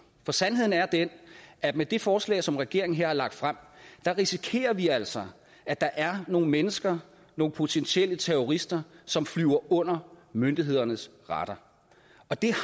for sandheden er den at med det forslag som regeringen her har lagt frem risikerer vi altså at der er nogle mennesker nogle potentielle terrorister som flyver under myndighedernes radar og det